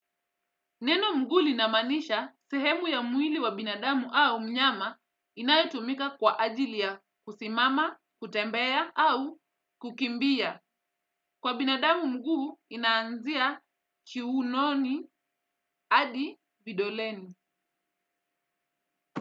Neno mguu linamanisha sehemu ya mwili wa binadamu au mnyama inayotumika kwa ajili ya kusimama, kutembea au kukimbia. Kwa binadamu mguu inaanzia kiunoni hadi vidoleni.